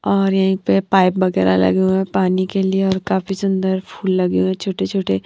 और यहीं पे पाइप वगेरा लगी हुए है पानी के लिए और काफी सुंदर फूल लगे हुए हैं छोटे-छोटे।